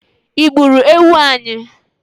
I gburu ewu anyi?